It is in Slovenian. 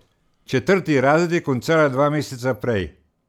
Četrti razred je končala dva meseca prej.